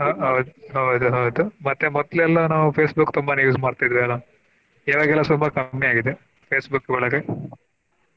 ಆಹ್ ಹೌದು ಹೌದು ಮತ್ತೆ ಮೊದ್ಲು ಎಲ್ಲಾ ನಾವು Facebook ತುಂಬಾನೆ use ಮಾಡ್ತಿದ್ವಿ ಅಲ ಈವಾಗೆಲ್ಲಾ ಸ್ವಲ್ಪ ಕಮ್ಮಿ ಆಗಿದೆ Facebook ಬಳಕೆ.